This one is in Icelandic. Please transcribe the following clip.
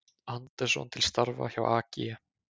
Andersson til starfa hjá AG